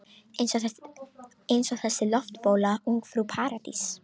Eins og þessi loftbóla Ungfrú Paradís.